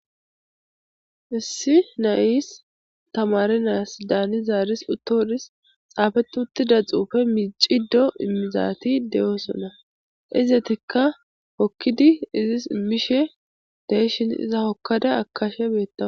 issi nayis tamare naas daani zaaris uttoodis xaafet uttida xuufe miicido immizaati de7oosona izetikka hokkidi izis immishe deeshin iza hokkada akashe beettawus